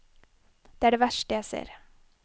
Det er det verste jeg ser.